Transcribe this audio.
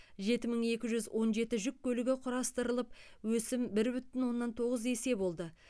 жеті мың екі жүз он жеті жүк көлігі құрастырылып өсім бір бүтін оннан тоғыз есе болды